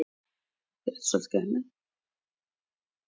Þegar liðinn var um stundarfjórðungur af leiknum voru Reynismenn í sókn.